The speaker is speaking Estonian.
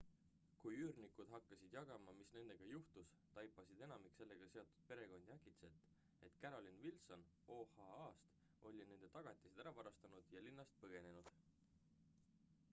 kui üürnikud hakkasid jagama mis nendega juhtus taipasid enamik sellega seotud perekondi äkitselt et carolyn wilson oha-st oli nende tagatised ära varastanud ja linnast põgenenud